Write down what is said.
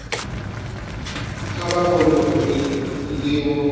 kha vha vhone uri ndivho